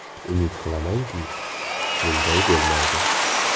Umid qilamanki, bunday bo‘lmaydi.